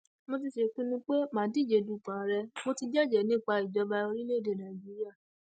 mo ti sèpinnu pé mà á díje dupò ààrẹ mò ti jẹjẹẹ nípa ìjọba orílẹèdè nàíjíríà